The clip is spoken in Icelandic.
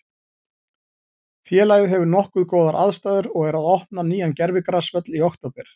Félagið hefur nokkuð góðar aðstæður og er að opna nýjan gervigrasvöll í október.